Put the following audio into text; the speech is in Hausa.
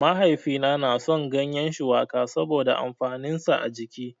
Mahaifina na son gyanyen shuwaka saboda amfanin sa a jiki